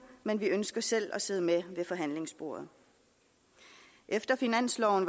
men ønsker selv at sidde med ved forhandlingsbordet efter finansloven